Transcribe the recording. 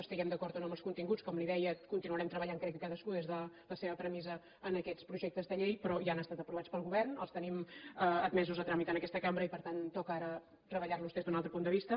estiguem d’acord o no amb els continguts com li deia continuarem treballant crec que cadascú des de la seva premissa en aquests projectes de llei però ja han estat aprovats pel govern els tenim admesos a tràmit en aquesta cambra i per tant toca ara treballar los des d’un altre punt de vista